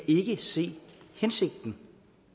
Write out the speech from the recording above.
ikke se hensigten